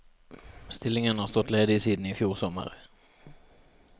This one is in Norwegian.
Stillingen har stått ledig siden i fjor sommer.